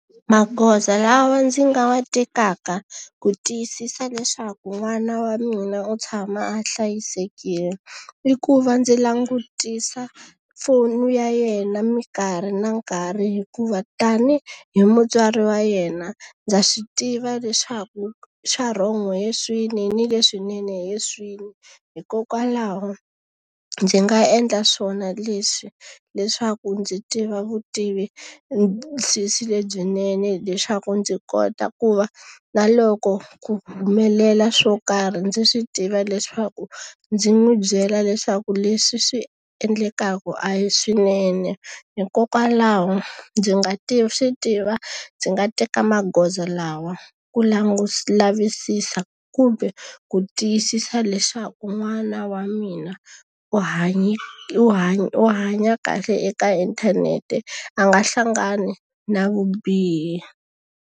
Magoza lawa ndzi nga wa tekaka ku tiyisisa leswaku n'wana wa mina u tshama a hlayisekile, i ku va ndzi langutisa foni ya yena minkarhi na nkarhi hikuva tani hi mutswari wa yena, ndza swi tiva leswaku swa wrong hi swini ni leswinene hi swini. Hikokwalaho ndzi nga endla swona leswi leswaku ndzi tiva vutivisisi lebyinene hileswaku ndzi kota ku va na loko ku humelela swo karhi ndzi swi tiva leswaku ndzi n'wi byela leswaku leswi swi endlekaka a hi swinene. Hikokwalaho ndzi nga swi tiva ndzi nga teka magoza lawa ku lavisisa kumbe ku tiyisisa leswaku n'wana wa mina u hanye u u hanya kahle eka inthanete, a nga hlangani na vubihi.